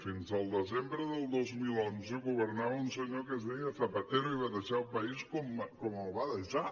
fins al desembre del dos mil onze governava un senyor que es deia zapatero i va deixar el país com el va deixar